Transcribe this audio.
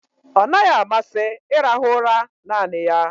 Ọ naghị amasị ịrahụ ụra naanị ya.